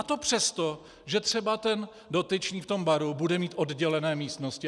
A to přesto, že třeba ten dotyčný v tom baru bude mít oddělené místnosti.